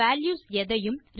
values எதையும்